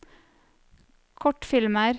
kortfilmer